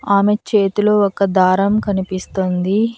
ఆమె చేతిలో ఒక దారం కనిపిస్తుంది.